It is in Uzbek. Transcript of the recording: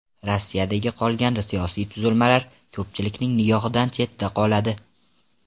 Rossiyadagi qolgan siyosiy tuzilmalar ko‘pchilikning nigohidan chetda qoladi.